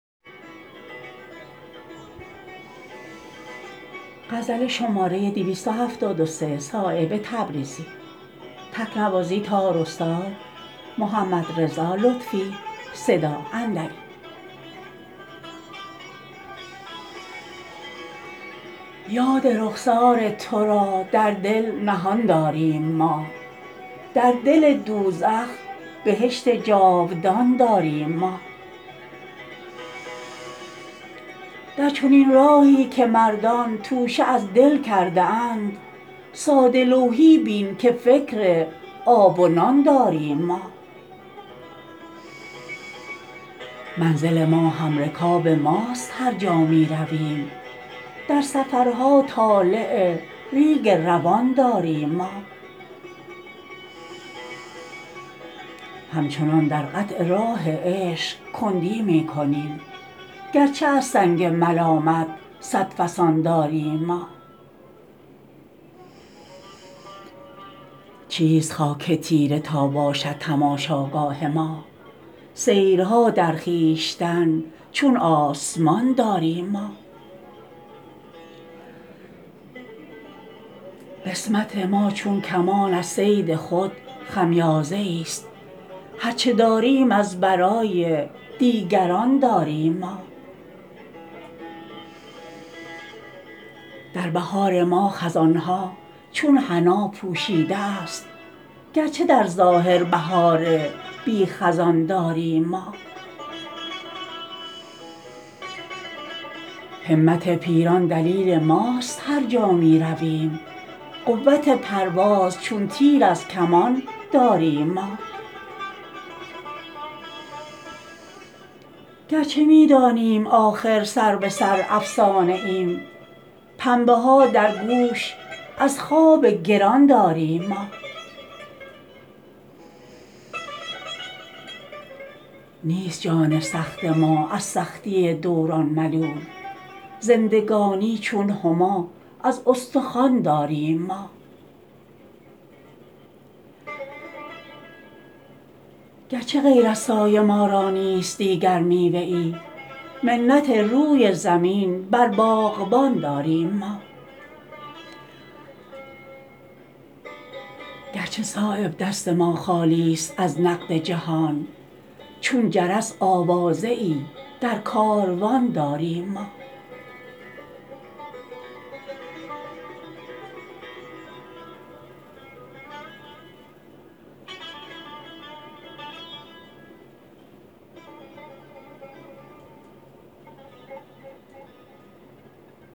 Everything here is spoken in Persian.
یاد رخسار ترا در دل نهان داریم ما در دل دوزخ بهشت جاودان داریم ما در چنین راهی که مردان توشه از دل کرده اند ساده لوحی بین که فکر آب و نان داریم ما منزل ما همرکاب ماست هر جا می رویم در سفرها طالع ریگ روان داریم ما همچنان در قطع راه عشق کندی می کنیم گرچه از سنگ ملامت صد فسان داریم ما چیست خاک تیره تا باشد تماشاگاه ما سیرها در خویشتن چون آسمان داریم ما قسمت ماچون کمان از صید خود خمیازه ای است هر چه داریم از برای دیگران داریم ما در بهار ما خزان ها چون حنا پوشیده است گرچه در ظاهر بهار بی خزان داریم ما همت پیران دلیل ماست هر جا می رویم قوت پرواز چون تیر از کمان داریم ما گرچه می دانیم آخر سر به سر افسانه ایم پنبه ها در گوش از خواب گران داریم ما نیست جان سخت ما از سختی دوران ملول زندگانی چون هما از استخوان داریم ما گرچه غیر از سایه ما را نیست دیگر میوه ای منت روی زمین بر باغبان داریم ما گرچه صایب دست ما خالی است از نقد جهان چون جرس آوازه ای در کاروان داریم ما